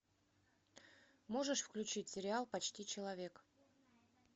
можешь включить сериал почти человек